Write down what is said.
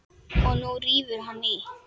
Og nú rífur hann í.